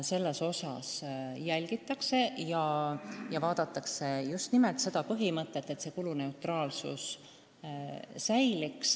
Seletuskirjast võib lugeda, et järgitakse just nimelt kuluneutraalsuse põhimõtet.